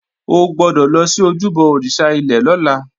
O gbọ́dọ̀ lọ sí ojúbọ òrìṣà ilẹ̀ lọ́la!